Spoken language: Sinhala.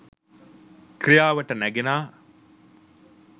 ක්‍රියාවට නැගෙනා